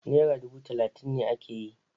Nera dubu talatin ne ake yi.